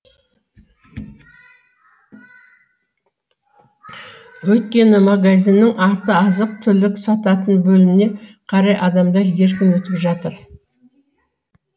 өйткені магазиннің арты азық түлік сататын бөліміне қарай адамдар еркін өтіп жатыр